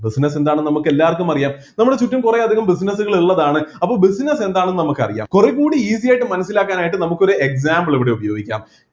business എന്താണ് എന്ന് നമുക്ക് എല്ലാർക്കും അറിയാം നമ്മളെ ചുറ്റും കുറെ അധികം business കൾ ഉള്ളതാണ് അപ്പൊ business എന്താണെന്ന് നമുക്ക് അറിയാം കുറെ കൂടി easy ആയിട്ട് മനസ്സിലാക്കാനായിട്ട് നമുക്ക് ഒരു example ഇവിടെ ഉപയോഗിക്കാം